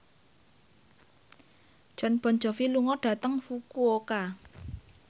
Jon Bon Jovi lunga dhateng Fukuoka